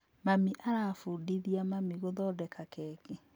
Mami arabundithia mami gũthondeka keki